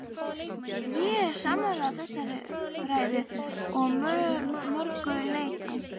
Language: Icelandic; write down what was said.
Ég er sammála þessari umræðu að mörgu leyti.